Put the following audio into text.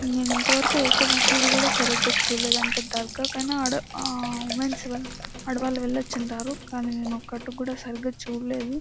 నేను ఇంతవరకు ఒక మసీదు కూడా సరిగా చూడలేదు అంటే దర్గా కిన అడా వమెన్స్ ఆహ్ అడా వెళ్లొచ్చు అంటారు కానీ నేను ఒకటి కూడా సరిగా చూడలేదు.